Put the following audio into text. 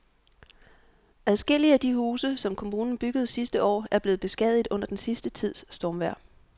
Adskillige af de huse, som kommunen byggede sidste år, er blevet beskadiget under den sidste tids stormvejr.